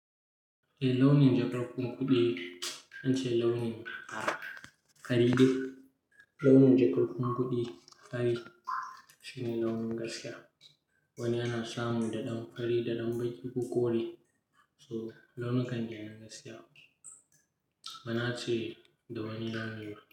Eh launin jakar kuma kuɗi zance launin fari ne. Launin jakar ku kuɗi fari shine launin gaskiya. Wani ana samu da ɗan fari, da ɗan baki ko kore. So launukan kenan gaskiya ba na ce da wani launi ba.